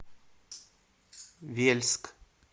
вельск